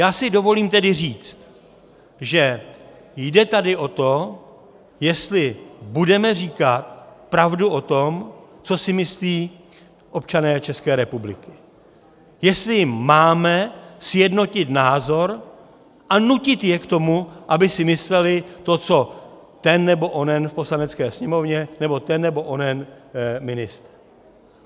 Já si dovolím tedy říct, že tady jde o to, jestli budeme říkat pravdu o tom, co si myslí občané České republiky, jestli máme sjednotit názor a nutit je k tomu, aby si mysleli to, co ten nebo onen v Poslanecké sněmovně nebo ten nebo onen ministr.